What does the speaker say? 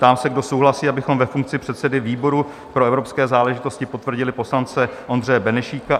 Ptám se, kdo souhlasí, abychom ve funkci předsedy výboru pro evropské záležitosti potvrdili poslance Ondřeje Benešík?